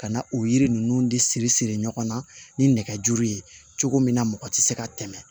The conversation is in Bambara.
Ka na o yiri ninnu de siri siri ɲɔgɔn na ni nɛgɛjuru ye cogo min na mɔgɔ tɛ se ka tɛmɛ